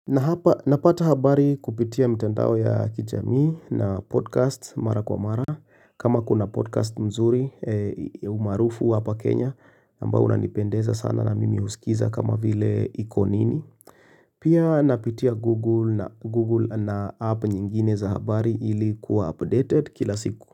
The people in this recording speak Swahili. Na hapa napata habari kupitia mitandao ya kijamii na podcast mara kwa mara kama kuna podcast nzuri maarufu hapa Kenya ambayo unanipendeza sana na mimi husikiza kama vile iko nini Pia napitia google na app nyingine za habari ilikuwa updated kila siku.